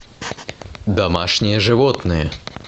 домашние животные